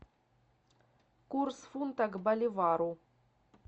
курс фунта к боливару